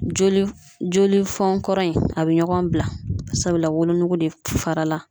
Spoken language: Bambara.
Joli joli fonkɔrɔ in, a bɛ ɲɔgɔn bila sabula wolonugu de fara la.